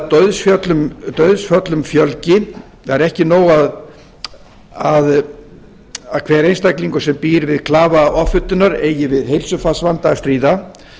dauðsföllum fjölgi það er ekki nóg að hver einstaklingur sem býr við klafa offitunar eigi við heilsufarsvanda að stríða